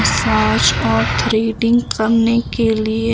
massage और threading करने के लिए--